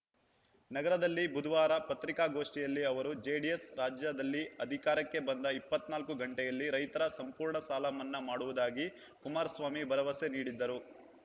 ನಗರದಲ್ಲಿ ಬುಧವಾರ ಪತ್ರಿಕಾಗೋಷ್ಠಿಯಲ್ಲಿ ಅವರು ಜೆಡಿಎಸ್‌ ರಾಜ್ಯದಲ್ಲಿ ಅಧಿಕಾರಕ್ಕೆ ಬಂದ ಇಪ್ಪತ್ತ್ ನಾಲ್ಕು ಗಂಟೆಯಲ್ಲಿ ರೈತರ ಸಂಪೂರ್ಣ ಸಾಲ ಮನ್ನಾ ಮಾಡುವುದಾಗಿ ಕುಮಾರಸ್ವಾಮಿ ಭರವಸೆ ನೀಡಿದ್ದರು